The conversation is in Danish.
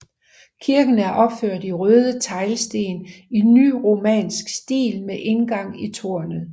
Kirken er opført i røde teglsten i nyromansk stil med indgang i tårnet